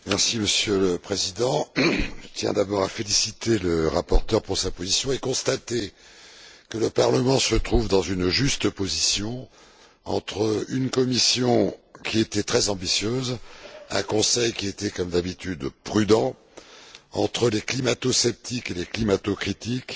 Monsieur le Président, je tiens d'abord à féliciter le rapporteur pour sa position et je constate que le Parlement se trouve dans une juste position entre une Commission qui était très ambitieuse, un Conseil qui était, comme d'habitude, prudent, entre les climato sceptiques et les climato critiques,